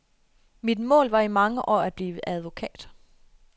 Mit mål var i mange år at blive advokat.